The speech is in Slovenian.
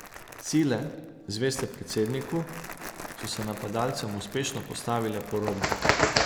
Sile, zveste predsedniku, so se napadalcem uspešno postavile po robu.